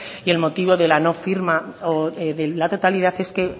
y el motivo de la no firma o de la totalidad es que